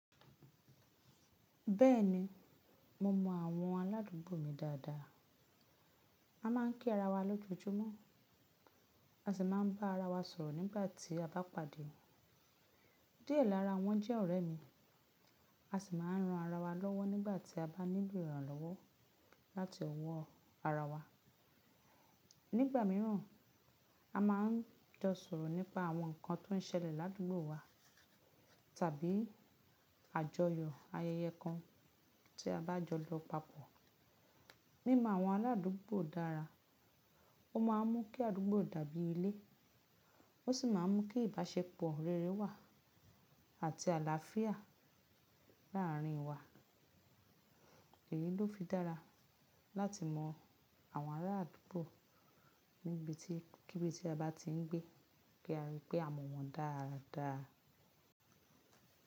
Bẹ́ẹ̀ni, mo mọ àwọn aládùúgbò mi dáadáa. A máà ń kí ara wa lójoojúmọ́, a sì máà ń bá ara wa sọ̀rọ̀ nígbà tí a bá pàdé. Díẹ̀ lára wọn jẹ́ ọ̀rẹ́ mi. A sì máà ń ran ara wa lọ́wọ́ nígbà tí a bá nílò ìrànlọ́wọ́ láti ọwọ́ ara wa. Nígbà mìíràn, a máa ń jọ sọ̀rọ̀ nípa àwọn nǹkan tó ń ṣẹlẹ̀ ládùúgbò wa tàbí àjọyọ̀ ayẹyẹ kan tí a bá jọ lọ papọ̀. Mímọ àwọn aládùúgbò dára, ó máa ń mú kí àdúgbò dàbí ilé. Ó sì máa ń mú kí ìbáṣepọ̀ rere wà àti àlàáfíà láàárín wa. Èyí ló fi dára láti mọ àwọn ará àdúgbò níbi tí níbikíbi tí a bá ti ń gbé kí a ri pé a mọ̀ wọ́n dáadáa.